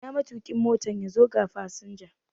Ina matuƙin Motan? yazo ga fasinja